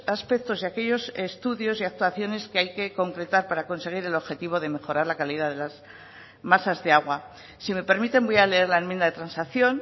aspectos y aquellos estudios y actuaciones que hay que concretar para conseguir el objetivo de mejorar la calidad de las masas de agua si me permiten voy a leer la enmienda de transacción